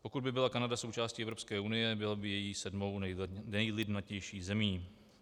Pokud by byla Kanada součástí Evropské unie, byla by její sedmou nejlidnatější zemí.